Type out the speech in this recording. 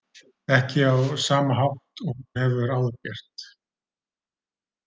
Ekki á sama hátt og hún hefur áður gert.